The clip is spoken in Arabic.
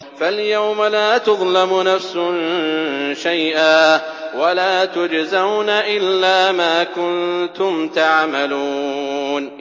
فَالْيَوْمَ لَا تُظْلَمُ نَفْسٌ شَيْئًا وَلَا تُجْزَوْنَ إِلَّا مَا كُنتُمْ تَعْمَلُونَ